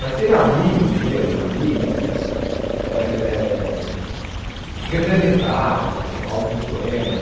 Mas teve amigos meus, amigas, que eh representaram hum alguns poemas.